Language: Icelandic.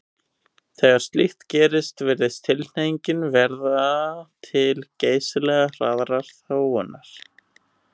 Þegar slíkt gerist virðist tilhneigingin verða til geysilega hraðrar þróunar.